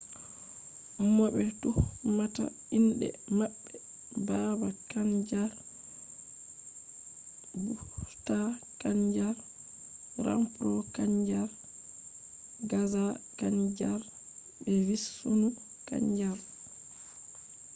mo be tuhmata inde mabbe baba kanjar bhutha kanjar rampro kanjar gaza kanjar be vishnu kanjar